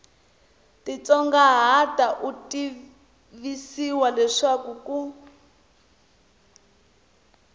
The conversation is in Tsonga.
titsongahata u tivisiwa leswaku ku